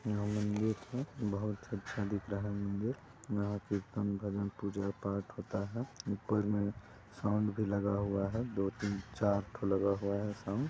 यहाँ मंदिर है बहुत अच्छा दिख रहा है मंदिर यहाँ कृतन भजन पूजा पाठ होता है ऊपर मे साउन्ड भी लगा हुआ है दो तीन चार ठो लगा हुआ है साउन्ड।